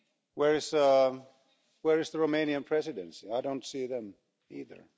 Where is the Romanian Presidency? I don't see them either.